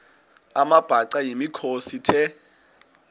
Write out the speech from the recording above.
amabhaca yimikhosi the